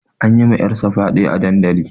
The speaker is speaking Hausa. An yi wa ƴar sa fyaɗe a dandali